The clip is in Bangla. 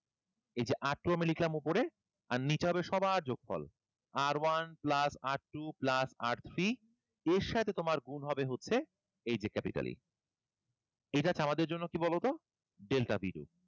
এই যে R two আমি লিখলাম উপরে আর নিচে হবে সবার যোগফল। R one plus R two plus R three এর সাথে তোমার গুন হবে হচ্ছে এই যে capital E এইটা হচ্ছে আমাদের জন্য কি বলো তো? Delta b two,